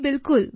બિલકુલ